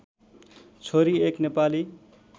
छोरी एक नेपाली